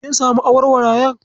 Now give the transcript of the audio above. Kin samu awarwarayen?